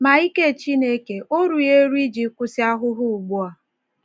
Ma ike Chineke ó rughị eru iji kwụsị ahụhụ ugbu a?